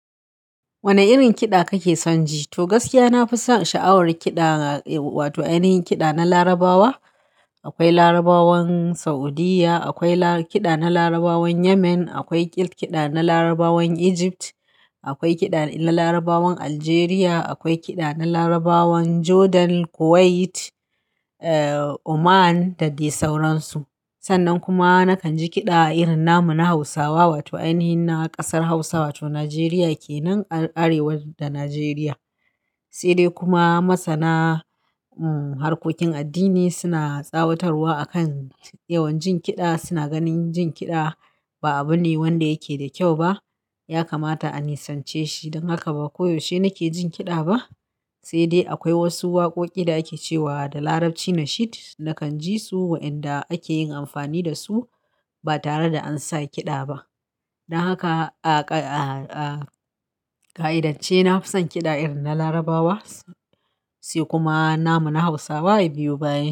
Wane irin kiɗa kake son ji? To gaskiya, na fi son sha'awar kiɗa, wato ainihin kiɗa na Larabawa. Akwai Larabawan Saudiyya, akwai kiɗa na Larabawan Yemen, akwai kiɗa na Larabawan Egypt, akwai kiɗa na Larabawan Algeria, akwai kiɗa na Larabawan Jordan, Kuwait, Oman da dai sauransu. Sannan kuma nakan ji kiɗa irin namu na Hausawa, wato ainihin na ƙasar Hausa wato Najeriya kenan Arewa da Najeriya. Sai dai kuma masana harkokin addini suna tsawatarwa a kan yawan jin kiɗa, suna ganin jin kiɗa ba abu ne wanda yake da kyau ba. Ya kamata a nisance shi don haka ba koyaushe nake jin kiɗa ba. Sai dai akwai wasu waƙoƙi da ake cewa da Larabci "Nashid" nakan ji su waɗanda ake yin amfani da su ba tare da an sa kiɗa ba. Don haka, a ka'idance na fi son kiɗa irin na Larabawa, sai kuma namu na Hausawa ya biyu bayan.